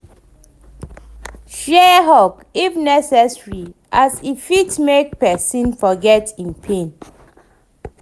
Share hug if e dey necesary as e fit mek pesin forget em pain